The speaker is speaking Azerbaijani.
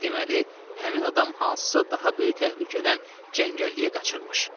Deməli, həmin adam hansısa daha böyük təhlükədən cəngəlliyə qaçırmış.